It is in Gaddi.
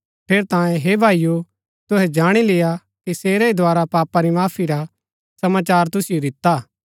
ठेरैतांये हे भाईओ तुहै जाणी लेय्आ कि सेरै ही द्धारा पापा री माफी रा समाचार तुसिओ दिता हा